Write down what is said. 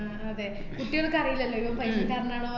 അഹ് അതേ കുട്ടികൾക് അറിയില്ലല്ലൊ ഇവൻ പൈസക്കാരനാണോ